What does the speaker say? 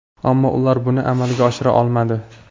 Ammo ular buni amalga oshira olmadi.